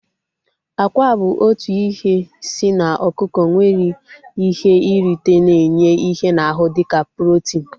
Akwa bụ otu ihe si n'ọkụkọ nwere ihe nrite na-enye ihe n'ahu dịka protin